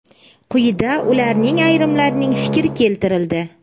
Quyida ularning ayrimlarining fikri keltirildi.